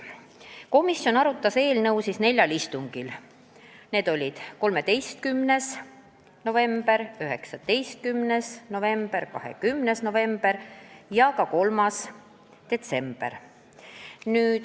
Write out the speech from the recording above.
Komisjon arutas eelnõu neljal istungil: 13. novembril, 19. novembril, 20. novembril ja ka 3. detsembril.